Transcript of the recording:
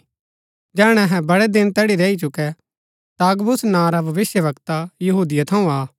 जैहणै अहै बड़ै दिन तैड़ी रैई चुकै ता अगबुस नां रा भविष्‍यवक्ता यहूदिया थऊँ आ